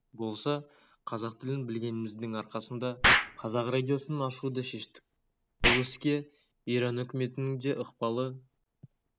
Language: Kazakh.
болса қазақ тілін білгеніміздің арқасында қазақ радиосын ашуды шештік бұл іске иран үкіметінің де ықпалы